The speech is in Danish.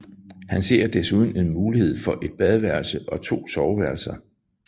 Han ser desuden en mulighed for et badeværelse og to soveværelser